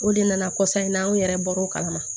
O de nana kɔsɔn in na an yɛrɛ bɔra o kalama